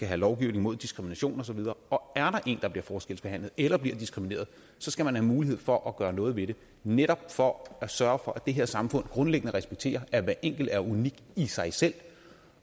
have lovgivning mod diskrimination og så videre og er en der bliver forskelsbehandlet eller bliver diskrimineret skal man have mulighed for at gøre noget ved det netop for at sørge for at det her samfund grundlæggende respekterer at hver enkelt er unik i sig selv